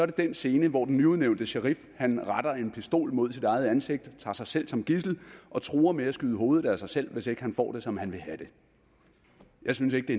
den scene hvor den nyudnævnte sherif retter en pistol mod sit eget ansigt tager sig selv som gidsel og truer med at skyde hovedet af sig selv hvis ikke han får det som han vil have det jeg synes ikke det